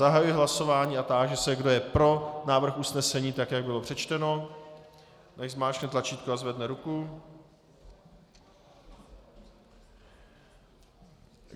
Zahajuji hlasování a táži se, kdo je pro návrh usnesení tak, jak bylo přečteno, nechť zmáčkne tlačítko a zvedne ruku.